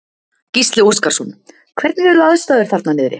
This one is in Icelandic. Gísli Óskarsson: Hvernig eru aðstæður þarna niðri?